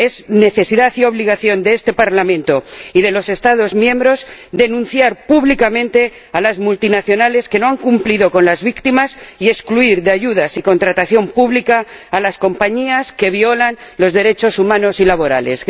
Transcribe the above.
Es necesidad y obligación de este Parlamento y de los Estados miembros denunciar públicamente a las multinacionales que no han cumplido con las víctimas y excluir de ayudas y contratación pública a las compañías que violan los derechos humanos y laborales.